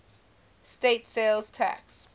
state sales tax